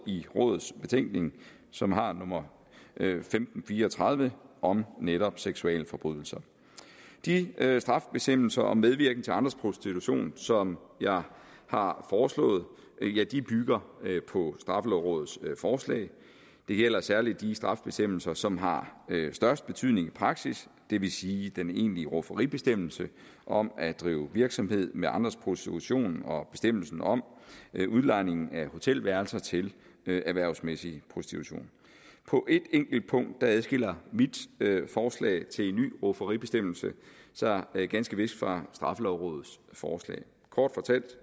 i rådets betænkning som har nummer femten fire og tredive om netop seksualforbrydelser de strafbestemmelser om medvirken til andres prostitution som jeg har foreslået bygger på straffelovrådets forslag det gælder særlig de strafbestemmelser som har størst betydning i praksis det vil sige den egentlige rufferibestemmelse om at drive virksomhed med andres prostitution og bestemmelsen om udlejning af hotelværelser til erhvervsmæssig prostitution på ét enkelt punkt adskiller mit forslag til en ny rufferibestemmelse sig ganske vist fra straffelovrådets forslag kort fortalt